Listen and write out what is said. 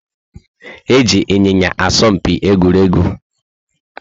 Eji Ịnyịnya asọ mpi egwuregwu